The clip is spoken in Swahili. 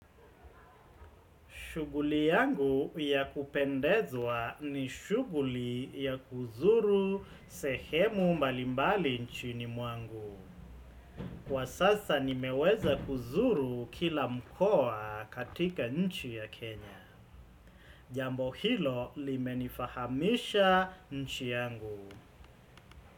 Shughuli yangu ya kupendezwa ni shughuli ya kuzuru sehemu malimbali nchi mwangu. Kwa sasa nimeweza kuzuru kila mkoa katika nchi ya Kenya. Jambo hilo limenifahamisha nchi yangu.